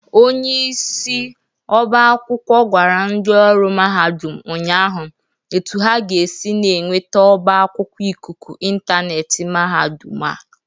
Onyeisi ọba akwụkwọ gwara ndị ọrụ mahadụm ụnyaahụ etu ha ga-esi na-enwete ọba akwụkwọ ịkụkụ ịntaneetị mahadụm a.